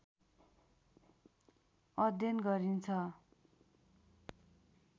अध्ययन गरिन्छ